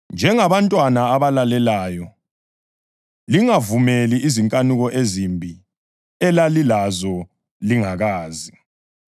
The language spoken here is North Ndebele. Njengabantwana abalalelayo lingavumeli izinkanuko ezimbi elalilazo lingakazi.